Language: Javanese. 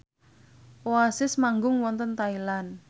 Oasis manggung wonten Thailand